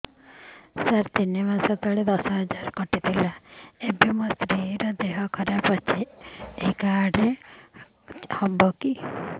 ସାର ତିନି ମାସ ତଳେ ଦଶ ହଜାର ଟଙ୍କା କଟି ଥିଲା ଏବେ ମୋ ସ୍ତ୍ରୀ ର ଦିହ ଖରାପ ଏ କାର୍ଡ ଚଳିବକି